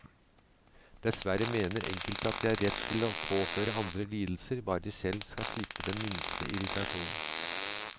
Dessverre mener enkelte at de har rett til å påføre andre lidelser, bare de selv skal slippe den minste irritasjon.